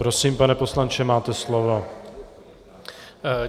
Prosím, pane poslanče, máte slovo.